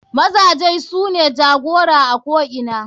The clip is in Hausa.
Mazaje sune jagora a ko ina.